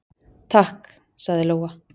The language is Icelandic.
"""Takk, sagði Lóa."""